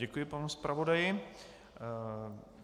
Děkuji panu zpravodaji.